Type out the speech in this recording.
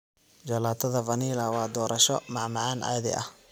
Jalaatada Vanilla waa doorasho macmacaan caadi ah.